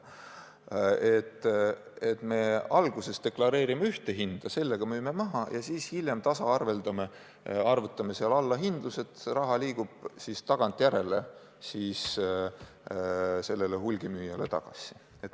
Et me alguses deklareerime ühte hinda, sellega müüme maha ja siis hiljem tasaarveldame, arvutame allahindlused, raha liigub tagantjärele siis hulgimüüjale tagasi.